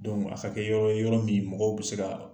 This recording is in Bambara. a ka kɛ yɔrɔ ye yɔrɔ min mɔgɔw bɛ se ka